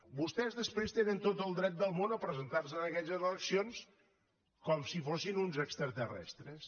vostès després tenen tot el dret del món a presentarse en aquelles eleccions com si fossin un extraterrestres